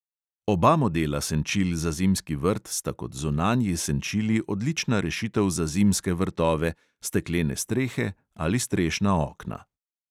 Oba modela senčil za zimski vrt sta kot zunanji senčili odlična rešitev za zimske vrtove, steklene strehe ali strešna okna.